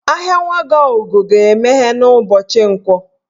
Ahịa Nwagọugo ga-emeghe n'ụbọchị Nkwọ